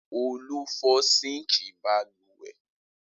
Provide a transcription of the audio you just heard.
Olú fọ́ síńkì balùwẹ̀?